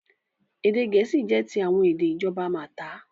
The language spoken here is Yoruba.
Èdè Gẹ̀ẹ́sì jẹ́ ti àwọn èdè ìjọba Malta.